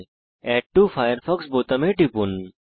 add to Firefox বোতামে টিপুন